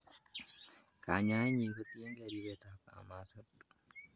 Kanyaenyin kotkyingei ribetab kamaset.